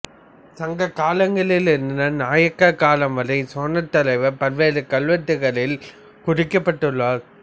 சங்க காலங்களில் இருந்து நாயக்கர் காலம் வரை சேனைத்தலைவர் பல்வேறு கல்வெட்டுகளில் குறிக்கப்பட்டுள்ளனர்